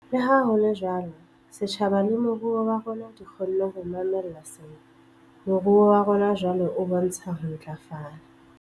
Leha ho le jwalo, setjhaba le moruo wa rona di kgonne ho mamella sena. Moruo wa rona jwale o bontsha ho ntlafala.